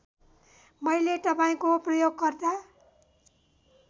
मैले तपाईँको प्रयोगकर्ता